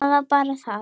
Það er bara það!